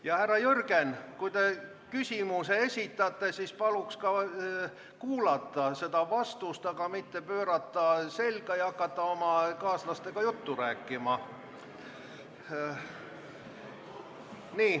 Ja, härra Jürgen, kui te küsimuse esitate, siis palun ka kuulata vastust, mitte pöörata selga ja hakata oma kaaslastega juttu rääkima.